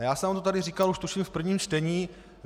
A já jsem vám to tady říkal už, tuším, v prvním čtení.